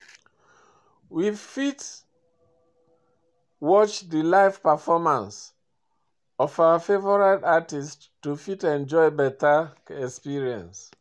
We fit watch di live performance of our favourite artist to fit enjoy better experience